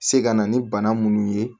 Se ka na ni bana minnu ye